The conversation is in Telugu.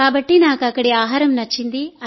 కాబట్టి నాకు అక్కడి ఆహారం నచ్చింది